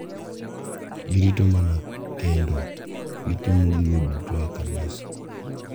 girito mana kendo gitimo gigo duto e Kanisa.”